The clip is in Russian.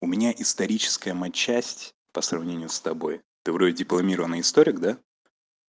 у меня историческая матчасть по сравнению с тобой ты вроде дипломированный историк да